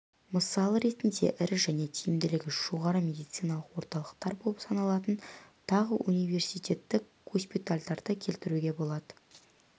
мысал ретінде ірі және тиімділігі жоғары медициналық орталықтар болып саналатын тағы университеттік госпитальдерді келтіруге болады